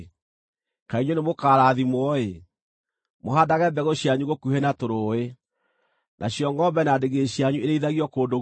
kaĩ inyuĩ nĩmũkarathimwo-ĩ, mũhaandage mbegũ cianyu gũkuhĩ na tũrũũĩ, nacio ngʼombe na ndigiri cianyu irĩithagio kũndũ guothe.